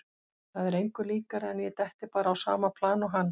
Það er engu líkara en að ég detti bara á sama plan og hann.